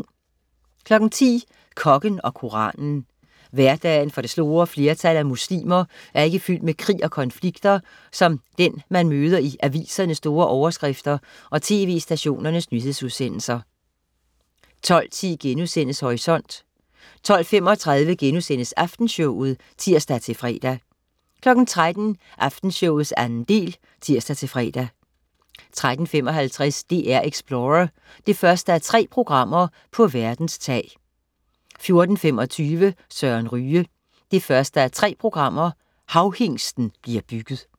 10.00 Kokken og koranen. Hverdagen for det store flertal af muslimer er ikke fyldt med krig og konflikter som den, man møder i avisernes store overskrifter og tv-stationernes nyhedsudsendelser 12.10 Horisont* 12.35 Aftenshowet* (tirs-fre) 13.00 Aftenshowet 2. del (tirs-fre) 13.55 DR-Explorer: 1:3 På verdens tag 14.25 Søren Ryge. 1:3 Havhingsten bliver bygget